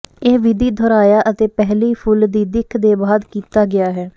ਇਹ ਵਿਧੀ ਦੁਹਰਾਇਆ ਅਤੇ ਪਹਿਲੀ ਫੁੱਲ ਦੀ ਦਿੱਖ ਦੇ ਬਾਅਦ ਕੀਤਾ ਗਿਆ ਹੈ